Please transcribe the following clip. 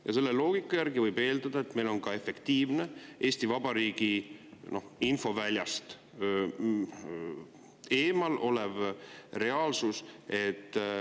Ja selle loogika järgi võib eeldada, et meil on ka efektiivne Eesti Vabariigi infoväljast eemal olev reaalsus.